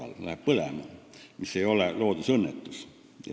Kui hoone läheb põlema, siis see ei ole loodusõnnetus.